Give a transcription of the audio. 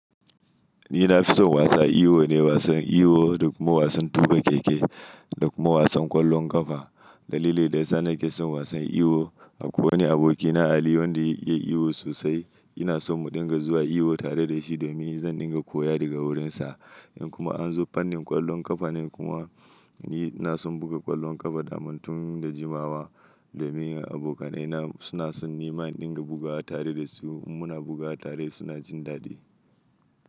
Ni na fi son wasa iyo ne, wasan iyo da kuma wasan tuka keke da kuma wasan ƙwallon ƙafa. Dalili da ya sa na ke son wasan iwo, akwai wani abokina Ali wanda ya iya iwo sosai. Ina so mu dinga zuwa iyo tare da shi domin zan dinga koya daga wurinsa. In kuma anzo fallin kwallon kafa nan kuma, ni nason buga kwallom kafa tun da jiwawa domin abokanai na suna son nima in dinga bugawa tare da su. In muna bugawa tare suna jin dadi.